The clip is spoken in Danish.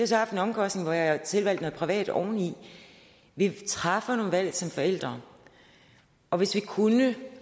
så haft den omkostning at jeg har tilvalgt noget privat oveni vi træffer nogle valg som forældre og hvis vi kunne